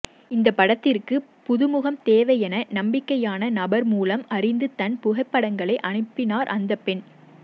இந்தப் படத்திற்கு புதுமுகம் தேவை என நம்பிக்கையான நபர் மூலம் அறிந்து தன் புகைப்படங்களை அனுப்பினார் அந்தப் பெண்